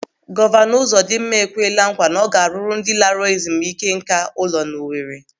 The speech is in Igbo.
Gọvanọ Ụzọdịmma ekweela nkwa na ọ ga-arụrụ ndị laara ezumike nká ụlọ n'Owere.